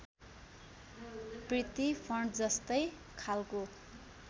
प्रिती फन्टजस्तै खालको